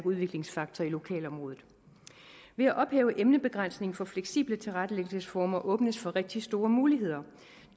udviklingsfaktor i lokalområdet ved at ophæve emnebegrænsningen for fleksible tilrettelæggelsesformer åbnes for rigtig store muligheder